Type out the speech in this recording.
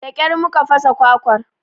Da ƙyar mu ka fasa kwakwar